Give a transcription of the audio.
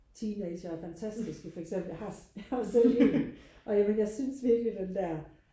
teenagere er fantastiske for eksempel jeg har jeg har jo selv en og jeg vil jeg synes virkelig den der